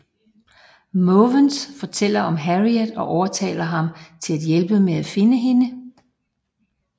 Måvens fortæller om Harriet og overtaler ham til at hjælpe med at finde hende